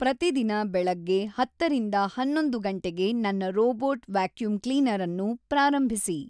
ಪ್ರತಿದಿನ ಬೆಳಗ್ಗೆ ಹತ್ತರಿಂದ ಹನ್ನೊಂದು ಗಂಟೆಗೆ ನನ್ನ ರೋಬೋಟ್ ವ್ಯಾಕ್ಯೂಮ್ ಕ್ಲೀನರ್ ಅನ್ನು ಪ್ರಾರಂಭಿಸಿ